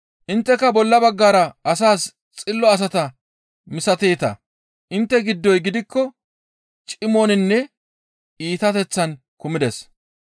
Intteka bolla baggara asas xillo asata misateeta; intte giddoy gidikko cimoninne iitateththan kumides.